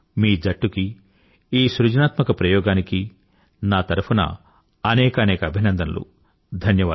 మీకూ మీ జట్టు కీ ఈ సృజనాత్మక ప్రయోగానికీ నా తరఫున అనేకానేక అభినందనలు